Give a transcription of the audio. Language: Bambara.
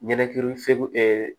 Ɲɛnɛkili febe